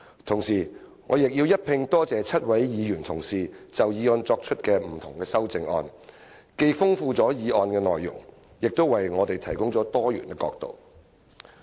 同時，我亦要感謝7位議員同事就議案提出修正案，既豐富了議案的內容，亦為我們提供多元角度。